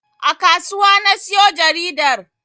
A kasuwa na siyo jaridar